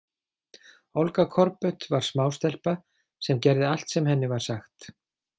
Olga Korbut var smástelpa sem gerði allt sem henni var sagt.